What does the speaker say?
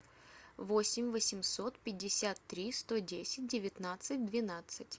восемь восемьсот пятьдесят три сто десять девятнадцать двенадцать